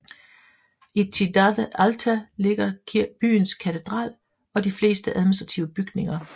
I Cidade Alta ligger byens katedral og de fleste administrative bygninger